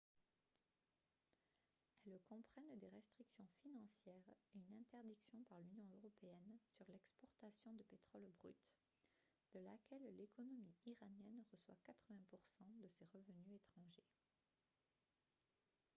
elles comprennent des restrictions financières et une interdiction par l'union européenne sur l'exportation de pétrole brut de laquelle l'économie iranienne reçoit 80 % de ses revenus étrangers